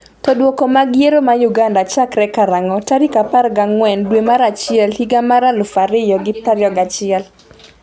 to Duoko mag yiero ma Uganda chakre karang'o tarik 14 dwe mar achiel higa mar 2021?